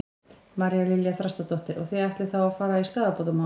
María Lilja Þrastardóttir: Og þið ætlið þá að fara í skaðabótamál?